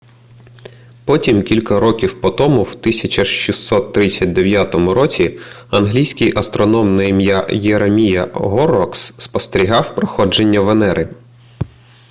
потім кілька років по тому в 1639 році англійський астроном на ім'я єремія горрокс спостерігав проходження венери